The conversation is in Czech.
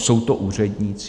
Jsou to úředníci?